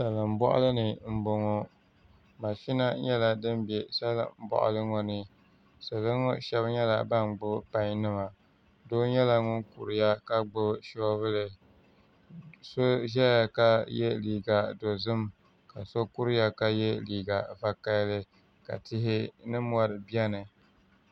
Salin boɣali ni n boŋo mashina nyɛla din bɛ salin boɣali ŋo ni salo ŋo pam nyɛla bin gbuni pai nima Doo nyɛla ŋun kuriya ka gbuni soobuli so ʒɛya la yɛ liiga dozim ka so kuriya ka yɛ liiga vakaɣali ka tihi ni mori biɛni